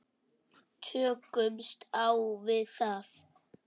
Tökumst á við það.